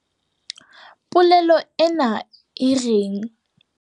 Polelo ena e reng?